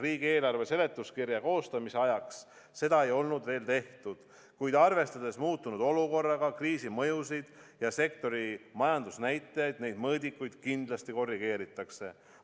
Riigieelarve seletuskirja koostamise ajaks seda ei olnud veel tehtud, kuid arvestades muutunud olukorda, kriisi mõjusid ja sektori majandusnäitajaid, neid mõõdikuid kindlasti korrigeeritakse.